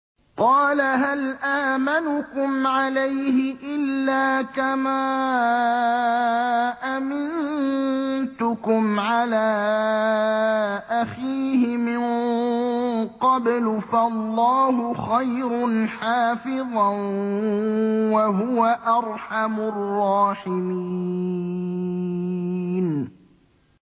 قَالَ هَلْ آمَنُكُمْ عَلَيْهِ إِلَّا كَمَا أَمِنتُكُمْ عَلَىٰ أَخِيهِ مِن قَبْلُ ۖ فَاللَّهُ خَيْرٌ حَافِظًا ۖ وَهُوَ أَرْحَمُ الرَّاحِمِينَ